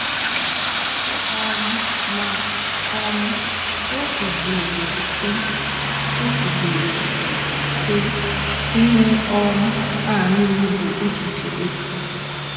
um Ma um o kwubiri sị, o kwubiri sị, " Ihe um a nile bụ echiche efu